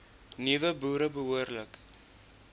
nuwe boere behoorlik